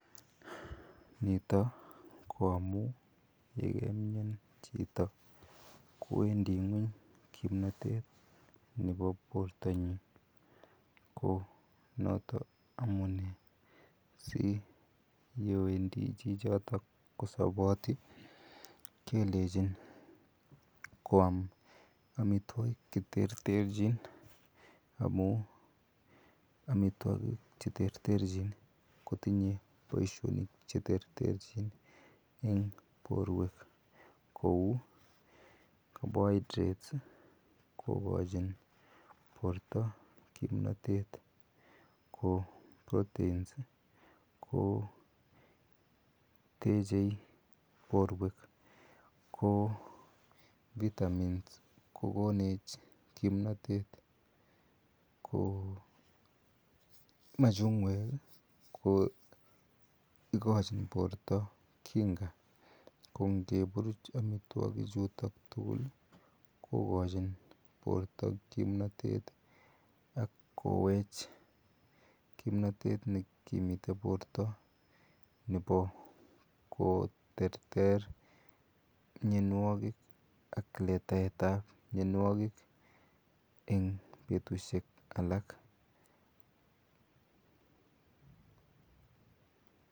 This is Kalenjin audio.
Nitok koamun yegemian chito kowedi ngweny kimnatet nebo bortanyi, ko notok amune si yewendi chichotok kosaboti, kelechin koam amitwagik che terterchin amun amitwagik che terterchin kotinye boishonik che terterchin eng porwek. Kou carbohidrates kokachin porta kimnatet, ko proteins ko techei porta. Ki vitamins ko konech kimnatet. Ko machungwek ko igochin porta kinga ko ngepuruch amitwagik chutok kokachin porta kimnatet ak kowech kimnatet ne kimi porta nebo koterter mianwagik ak letaetab mianwagik eng betushek alak.